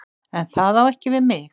En það á ekki við mig.